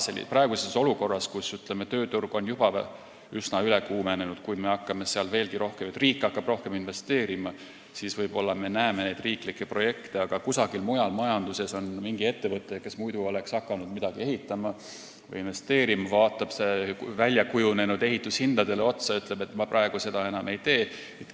Kui praeguses olukorras, kus, ütleme, tööturg on juba üsna üle kuumenenud, hakkab riik veel rohkem investeerima, siis võib-olla me näeme riiklikke projekte, aga kusagil mujal majanduses on mingi ettevõte, kes muidu oleks hakanud midagi ehitama või investeerima, vaatab nüüd väljakujunenud ehitushindadele otsa ja ütleb, et ma praegu seda enam ei tee.